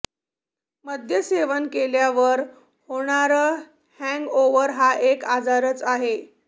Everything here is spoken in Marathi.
मद्यसेवन केल्यावर होणारं हॅंगओव्हर हा एक आजारच आहे